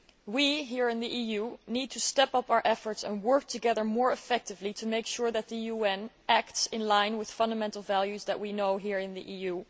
We, here in the EU, need to step up our efforts and work together more effectively to make sure that the UN acts in line with the fundamental values that we know here in the EU.